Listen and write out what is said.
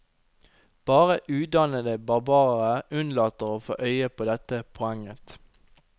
Bare udannede barbarer unnlater å få øye på dette poenget.